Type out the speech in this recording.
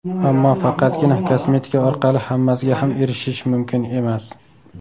Ammo faqatgina kosmetika orqali hammasiga ham erishish mumkin emas.